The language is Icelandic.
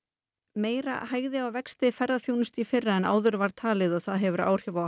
meira hægði á vexti ferðaþjónustu í fyrra en áður var talið og það hefur áhrif á